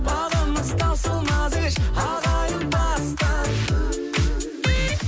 бабымыз таусылмап еш ағайындастық